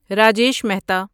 Rajesh Mehta